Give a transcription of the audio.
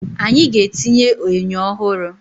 Anyị ga-etinye enyo ọhụrụ